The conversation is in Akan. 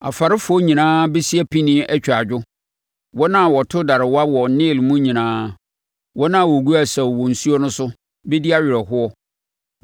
Afarefoɔ nyinaa bɛsi apinie atwa adwo, wɔn a wɔto darewa wɔ Nil mu nyinaa; wɔn a wɔgu asau wɔ nsuo no so bɛdi awerɛhoɔ.